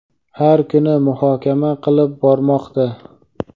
har kuni muhokama qilib bormoqda.